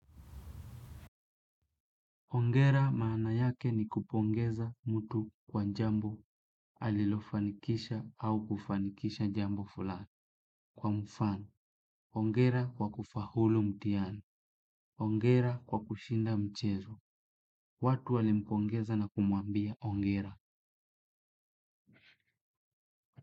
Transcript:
Hongera maana yake ni kupongeza mtu kwa njambo alilofanikisha au kufanikisha njambo fulani. Kwa mfano, hongera kwa kufaulu mtihani. Hongera kwa kushinda mchezo. Watu alimpongeza na kumwambia hongera.